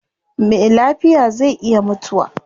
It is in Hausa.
Me lafiya zai iya mutuwa